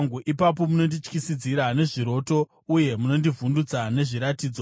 ipapo munondityisidzira nezviroto uye munondivhundutsa nezviratidzo,